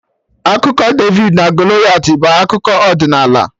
Akụkọ David na Goliath bụ akụkọ ọdịnala